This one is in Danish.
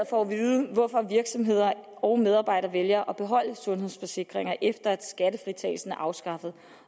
for at vide hvorfor virksomheder og medarbejdere vælger at beholde sundhedsforsikringer efter at skattefritagelsen er afskaffet